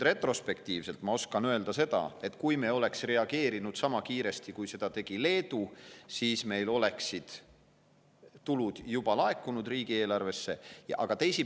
Retrospektiivselt oskan ma öelda seda, et kui me oleksime reageerinud sama kiiresti, kui seda tegi Leedu, siis oleksid meil tulud riigieelarvesse juba laekunud.